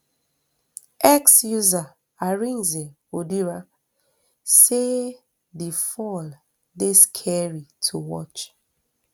x user arinze odira say di fall dey scary to watch